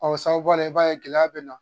o sababuya la i b'a ye gɛlɛya bɛ na.